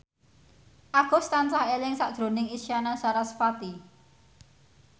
Agus tansah eling sakjroning Isyana Sarasvati